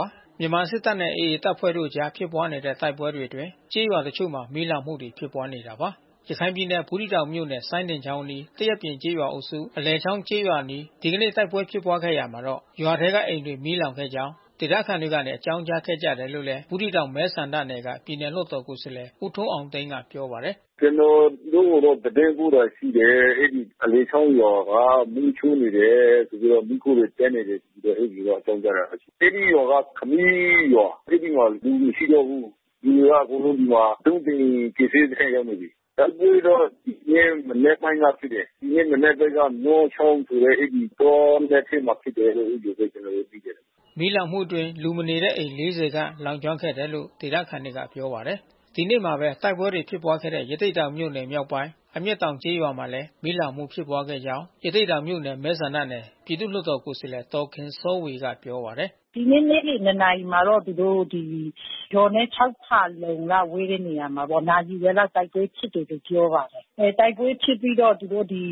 ါတယ်။ မြန်မာစစ်တပ်နဲ့ AA တပ်ဖွဲ့တို့အကြား ဖြစ်ပွားနေတဲ့ တိုက်ပွဲတွေအတွင်း ကျေးရွာတချို့မှာ မီးလောင်မှုတွေ ဖြစ်ပွားနေတာပါ။ ရခိုင်ပြည်နယ် ဘူးသီးတောင်မြို့နယ် စိုင်းဒင်ချောင်အနီး၊ သရက်ပြင်ကျေးရွာအုပ်စု အလယ်ချောင်းကျေးရွာအနီး ဒီကနေ့ တိုက်ပွဲဖြစ်ပွားခဲ့ရာမှာ ရွာထဲကအိမ်တွေ မီးလောင်ခဲ့ကြောင်း ဒေသခံတွေက အကြောင်းကြားခဲ့ကြတယ်လို့လည်း ဘူးသီးတောင်မဲဆန္ဒနယ်က ပြည်နယ်လွှတ်တော်ကိုယ်စားလှယ် ဦးထွန်းအောင်သိန်းက ပြောပါတယ်။ “ကျနော်တို့ကို သတင်းပို့တာ ရှိတယ်။ အဲဒီအလယ်ချောင်းရွာက မီးရှို့နေတယ်။ မီးခိုးတွေတက်နေတယ် ဆိုပြီးတော့ အဲဒီလို အကြောင်းကြားလာတယ်။ အဲဒီရွာက ခမီးရွာ။ အဲဒီမှာလူမရှိတော့ဘူး။ လူတွေက ဒီမှာအကုန်လုံး ဒုံးသိန်ကယ်ဆယ်ရေးစခန်းကို ရောက်နေပြီး။ တိုက်ပွဲတော့ဖြစ်တယ်။ မနက်ပိုင်းတော့ ဖြစ်တယ်။ ဒီနေ့အနက်ပိုင်းက မောချောင်းဆိုတဲ့ အဲဒီတောနက်ထဲမှာ ဖြစ်တယ်လို့ အဲဒီလိုပဲ ကျနော်တို့သိတယ်။” မီးလောင်မှုအတွင်း လူမနေတဲ့ အိမ်ခြေ ၄၀ ခန့်လောင်ကျွမ်းခဲ့တယ်လို့ ဒေသခံတွေက ပြောပါတယ်။ ဒီနေ့မှာပဲ တိုက်ပွဲတွေ ဖြစ်ပွားခဲ့တဲ့ ရသေ့တောင်မြို့နယ် မြောက်ပိုင်း အမျက်တောင်ကျေးရွာမှာလည်း မီးလောင်မှု ဖြစ်ခဲ့ကြောင်း ရသေ့တောင်မြို့နယ် မဲဆန္ဒနယ် ပြည်သူ့လွှတ်တော်ကိုယ်စားလှယ် ဒေါ်ခင်စောဝေက ပြောပါတယ်။ “ဒီနေ့နေ့လယ် ၂ နာရီမှာတော့ ရွာနဲ့ ၆ ဖါလုံလောက် ဝေးတဲ့ နေရာမှာပေါ့ နာရီဝက်လောက် တိုက်ပွဲဖြစ်တယ်လို့ ပြောပါတယ်။ တိုက်ပွဲဖြစ်ပြီးတော့ သူတို့ဒီ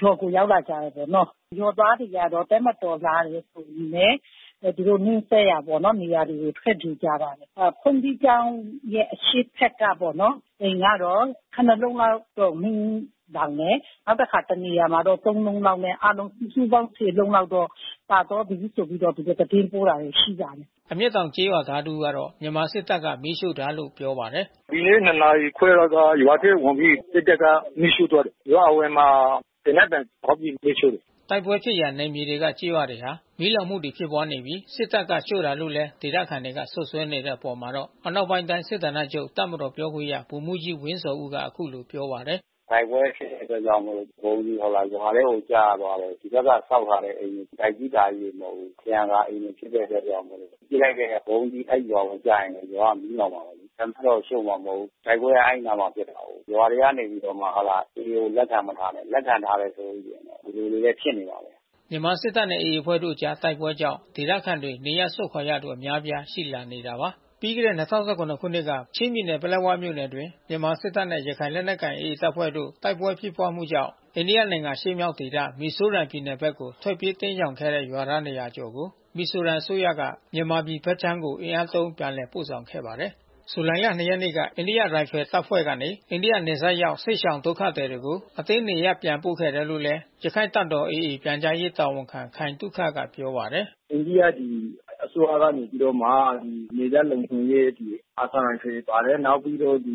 ရွာကို ရောက်လာကြတယ်ပေါ့။ ရွာသားတွေကျတော့ တပ်မတော်လာတယ်ဆိုရင်ပဲ သူတို့နီးစပ်ရာတွေပေါ့ သူတို့ ထွက်ပြေးကြတယ်။ ဘုန်ကြီးကျောင်းရဲ့ အရှေ့ဘက်ပေါ့နော်... အိမ်ကတော့ ခုနစ် လုံး လောက်တော့ မီးလောင်တယ်။ နောက်တခါ တနေရာမှာတော့ သုံး လုံးလောက်နဲ့ အားလုံးစုစုပေါင်း ဆယ် လုံးလောက်တော့ ပါသွားပြီဆိုပြီးတော့ သူတို့ သတင်းပို့လာတာ ရှိပါတယ်။” အမျက်တောင် ကျေးရွာသား တဦးကတော့ မြန်မာစစ်တပ်က မီးရှို့တာလို့ ပြောပါတယ်။ “ဒီနေ့ ၂ နာရီခွဲလောက်က ရွာထဲဝင်ပြီး စစ်တပ်က မီးရှို့သွားတယ်။ ရွာအဝင်မှာ သေနတ်သံဖေါက်ပြီး မီးရှို့တယ်။” တိုက်ပွဲဖြစ်ရာ နယ်မြေတွေက ကျေးရွာတွေမှာ မီးလောင်မှုတွေ ဖြစ်ပွားနေပြီး စစ်တပ်က ရှို့တာလို့လည်း ဒေသခံတွေက စွပ်စွဲနေတဲ့ အပေါ်မှာတော့ အနောက်ပိုင်းတိုင်း စစ်ဌာနချုပ် တပ်မတော်ပြောခွင့်ရ ဗိုလ်မှူးကြီးဝင်းဇော်ဦးက အခုလိုပြောပါတယ်။ “တိုက်ပွဲ ဖြစ်တဲ့အတွက်ကြောင့်မို့လို့ ဗုံးသီးရွာထဲကို ကျသွားလို့ ဒီဘက်က ဆောက်ထားတဲ့ အိမ်တွေ၊ တိုက်ကြီးတာကြီးတွေ မဟုတ်ဘူး။ ထရံကာအိမ်တွေ ဖြစ်တဲ့အတွက်ကြောင့်မို့လို့ ပစ်လိုက်တဲ့ ဗုံးသီး အဲဒီရွာကိုကျရင်လည်း အဲဒီရွာ မီးလောင်မှာပဲ။ တပ်ကတော့ ရှို့မှာ မဟုတ်ဘူး။ တိုက်ပွဲက အဲဒီအနားမှာ ဖြစ်တာကိုး။ ရွာထဲကနေပြီးတော့ဟုတ်လား..... AA တွေကို လက်ခံမထားနဲ့။ လက်ခံထားမယ်ဆိုလို့ ရှိရင်တော့ ဒီလိုလေးပဲ ဖြစ်နေမှာပဲ။” မြန်မာစစ်တပ်နဲ့ AA အဖွဲ့တို့အကြား တိုက်ပွဲကြောင့် ဒေသခံရွာသားတွေ နေရပ်စွန့်ခွာနေရသူအများအပြား ရှိလာနေတာပါ။ ပြီးခဲ့တဲ့၂၀၁၇ ခုနှစ်က ပလက်ဝမြို့နယ်အတွင်း မြန်မာ့စစ်တပ်နဲ့ ရခိုင်လက်နက်ကိုင် AA တပ်ဖွဲ့တို့ တိုက်ပွဲဖြစ်ပွားမှုကြောင့် အိန္ဒိယနိုင်ငံ အရှေ့မြောက်ဒေသ မီဇိုရမ်ပြည်နယ်ဘက်ကို ထွက်ပြေးတိမ်းရှောင်ခဲ့တဲ့ ရွာသား ၂၀၀ ကျော်ကို မီဇိုရမ်အစိုးရကနေ မြန်မာပြည်ဘက်ခြမ်းကို အင်အားသုံး ပြန်လည်ပို့ဆောင်ခဲ့ပါတယ်။ ဇူလိုင် ၂ ရက်နေ့က အိန္ဒိယရိုင်ဖယ်တပ်ဖွဲ့ကနေ အိန္ဒိယနယ်စပ်ရောက် စစ်ရှောင်ဒုက္ခသည်တွေကို အတင်းနေရပ်ပြန်ပို့ခဲ့တယ်လို့ ရခိုင်တပ်တော် AA ပြန်ကြားရေးတာဝန်ခံ ခိုင်သုခက ပြောပါတယ်။ “အိန္ဒိယပြည် အစိုးရကနေပြီးတော့မှ နယ်စပ်လုံခြုံရေး အာသံရိုင်ဖယ်ပါတယ်။ နောက်ပြီးတော့ဒီ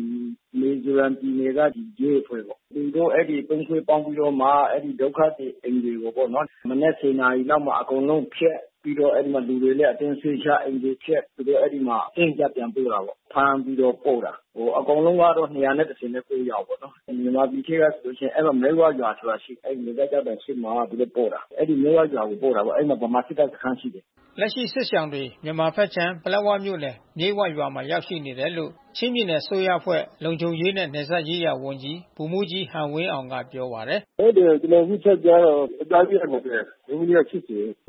မီဇိုရမ်ပြည်နယ်က ရဲအဖွဲ့ပေါ့။ သူတို့အဲဒီ သုံး အဖွဲ့ပေါင်းပြီးတော့မှ အဲဒီဒုက္ခသည်အိမ်တွေပေါ့နော်... မနက် ၁၀ နာရီလောက်မှာ အကုန်လုံး ဖျက်။ ပြီးတော့လူတွေလည်းအတင်းရွှေ့ချ၊ အိမ်တွေဖျက်။ သူတို့အဲဒီမှာ အတင်းအကျပ် ပြန်ပို့တာပေါ့။ ဖမ်းပြီးတော့ပို့တာ။ အကုန်လုံးကတော့ ၂၁၉ ယောက်ပေါ့နော်။ မြန်မာပြည်ထဲကဆိုရင် မြိတ်ဝဆိုတဲ့ ရွာရှိတယ်။ အဲဒီနယ်စပ်ကျောက်တိုင် ရှေ့မှာ သူတို့ပို့တာ။ အဲဒီမြိတ်ဝဆိုတဲ့ ရွာကို ပို့တာပေါ့။ အဲဒီမှာ ဗမာစစ်တပ်စခန်း ရှိတယ်။” လက်ရှိစစ်ရှောင်တွေ မြန်မာဘက်ခြမ်း ပလက်ဝမြို့နယ် မြိတ်ဝရွာမှာ ရောက်ရှိနေတယ်လို့ ချင်းပြည်နယ် အစိုးရအဖွဲ့လုံခြုံရေးနှင့် နယ်စပ်ရေးရာဝန်ကြီး ဗိုလ်မှူးကြီးဟန်ဝင်းအောင်က ပြောပါတယ်။ “ဟုတ်တယ်။ ကျနော်အခု ထပ်ကြားတာတော့ ယေကျ်ား ၁၂၀၊ အမျိုးသမီးက ၈၀ ။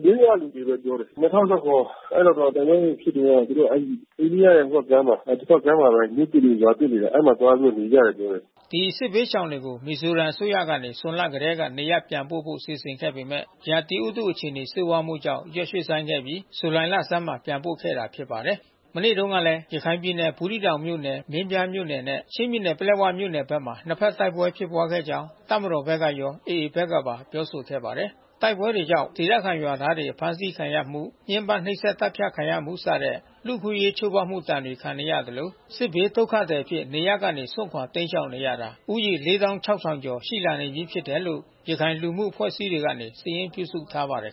မြိတ်ဝက လူတွေလို့ ပြောတယ်။ ၂၀၁၇ အဲဒီမှာ တိုက်ပွဲတွေဖြစ်တုန်းက သူတို့အဲဒီ အိန္ဒိယနယ်စပ်ကြားမှာ တဘက်ကမ်းမှာပဲ မြို့သစ်တွေ၊ ရွာသစ်တွေ အဲဒီမှာသွားပြီးတော့ နေကြတယ်။” ဒီ စစ်ဘေးရှောင်ပြည်သူတွေကို မီဇိုရမ်ပြည်နယ် အစိုးရကနေ ဇွန်လကတည်းက နေရပ်ပြန်ပို့ဖို့ စီစဉ်ခဲ့ပေမဲ့ ရာသီဥတု အခြေအနေ ဆိုးဝါးမှုကြောင့် ရက်ရွှေ့ဆိုင်းခဲ့ပြီး ဇူလိုင်လဆန်းမှာမှ ပြန်ပို့ခဲ့တာ ဖြစ်ပါတယ်။ မနေ့တုန်းကလည်း ရခိုင်ပြည်နယ် ဘူးသီးတောင်မြို့နယ် မင်းပြားမြို့နယ်နဲ့ ချင်းပြည်နယ်ပလက်ဝမြို့နယ်ဘက်မှာ နှစ်ဘက် တိုက်ပွဲဖြစ်ခဲ့ကြောင်း တပ်မတော်ဘက်ကရော AA ဘက်ကပါပြောဆိုခဲ့ပါတယ်။ တိုက်ပွဲတွေကြောင့် ဒေသခံရွာသားတွေ အဖမ်းဆီးခံရမှု ညှင်းပမ်းနှိပ်စက် သတ်ဖြတ်ခံရမှုစတဲ့ လူ့အခွင့်အရေးချိုးဖေါက်မှု ဒဏ်ခံနေရသလို စစ်ဘေးဒုက္ခသည်အဖြစ် နေရပ်ကနေစွန့်ခွာတိမ်းရှောင်နေရတာ ဦးရေ ၄၆,၀၀၀ ကျော် ရှိလာနေပြီး ဖြစ်တယ်လို့ ရခိုင်လူမှုအဖွဲ့အစည်းတွေက စာရင်းပြုစုထားပါတယ်